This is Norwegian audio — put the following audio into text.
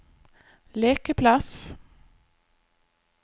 lekeplass